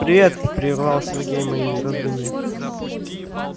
привет прервал сергей мои раздумья